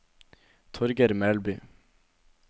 Torger Melby